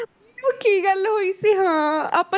ਨਹੀਂ ਉਹ ਕੀ ਗੱਲ ਹੋਈ ਸੀ ਹਾਂ ਆਪਾਂ,